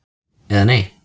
eða Nei!